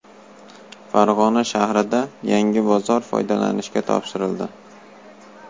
Farg‘ona shahrida yangi bozor foydalanishga topshirildi.